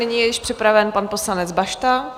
Nyní je již připraven pan poslanec Bašta.